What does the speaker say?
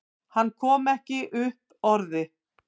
Hann kom ekki upp orði.